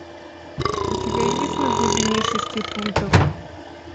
у тебя есть на глубине шести футов